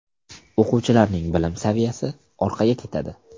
O‘quvchilarning bilim saviyasi orqaga ketadi.